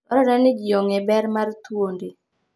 Dwarore ni ji ong'e ber mar thuondi.